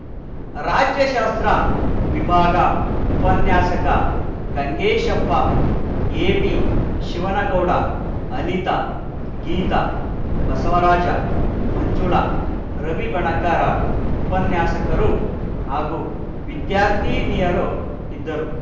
ರಾಜ್ಯಶಾಸ್ತ್ರ ವಿಭಾಗ ಉಪನ್ಯಾಸಕ ಗಂಗೇಶಪ್ಪ ಎಬಿಶಿವನಗೌಡ ಅನಿತಾ ಗೀತಾ ಬಸವರಾಜ ಮಂಜುಳಾ ರವಿ ಬಣಕಾರ ಉಪನ್ಯಾಸಕರು ಹಾಗೂ ವಿದ್ಯಾರ್ಥಿನಿಯರು ಇದ್ದರು